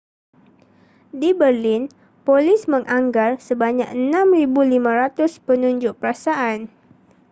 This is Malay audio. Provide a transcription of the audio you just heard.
di berlin polis menganggar sebanyak 6,500 penunjuk perasaan